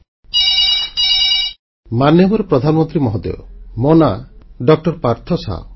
phone call ମାନ୍ୟବର ପ୍ରଧାନମନ୍ତ୍ରୀ ମହୋଦୟ ମୋ ନାମ ଡଃପାର୍ଥ ଶାହା